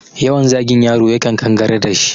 Yawan zagin yaro ya kan kangarar dashi